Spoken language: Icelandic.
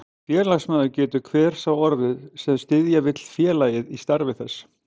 Félagsmaður getur hver sá orðið, sem styðja vill félagið í starfi þess.